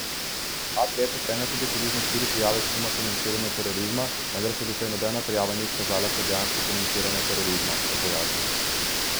Urad letno prejme tudi približno štiri prijave suma financiranja terorizma, vendar se doslej nobena ni izkazala kot dejansko financiranje terorizma, je pojasnil.